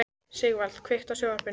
Sigvaldi, kveiktu á sjónvarpinu.